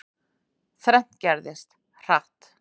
Þrennt gerðist, hratt.